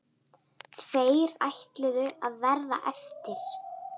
Tveir ætluðu að verða eftir.